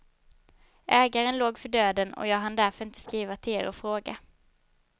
Ägaren låg för döden och jag hann därför inte skriva till er och fråga.